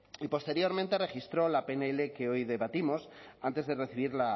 y posteriormente registró la pnl que hoy debatimos antes de recibir